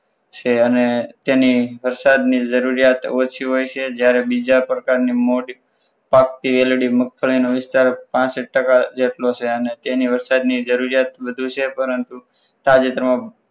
છે અને તેની વરસાદની જરૂરિયાત ઓછી હોય છે જ્યારે બીજા પ્રકારની મોડી પાકતી વેલડી મગફળીનો વિસ્તાર પાસઠ ટકા જેટલો છે અને તેની વરસાદની જરૂરિયાત વધુ છે પરંતુ તાજેતરમાં